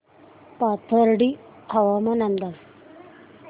पाथर्डी हवामान अंदाज